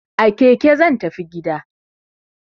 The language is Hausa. A keke zan tafi gida!